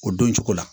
O don cogo la